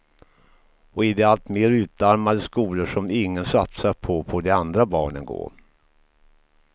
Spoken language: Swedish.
Och i de alltmer utarmade skolor som ingen satsar på, får de andra barnen gå.